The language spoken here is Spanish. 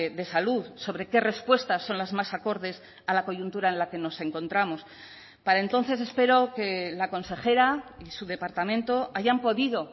de salud sobre qué respuestas son las más acordes a la coyuntura en la que nos encontramos para entonces espero que la consejera y su departamento hayan podido